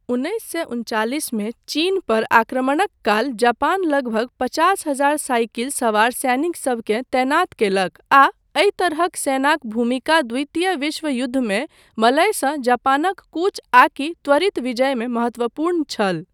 उन्नैस सए उनचालिसमे चीन पर आक्रमणक काल जापान लगभग पचास हजार साइकिल सवार सैनिकसभकेँ तैनात कयलक आ एहि तरहक सेनाक भूमिका द्वितीय विश्व युद्धमे मलयसँ जापानक कूच आकि त्वरित विजय मे महत्वपूर्ण छल।